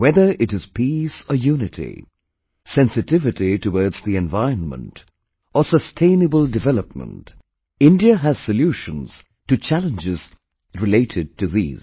Whether it is peace or unity, sensitivity towards the environment, or sustainable development, India has solutions to challenges related to these